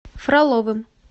фроловым